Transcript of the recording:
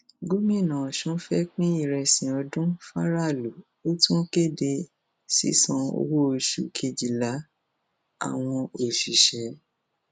gomina ọsùn fẹẹ pín ìrẹsì ọdún faraàlú ó tún kéde sísan owóoṣù kejìlá àwọn òṣìṣẹ